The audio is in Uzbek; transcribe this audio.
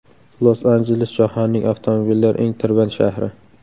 Los-Anjeles jahonning avtomobillar eng tirband shahri.